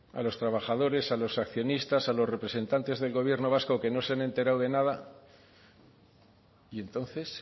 a los trabajadores a los accionistas a los representantes del gobierno vasco que no se han enterado de nada y entonces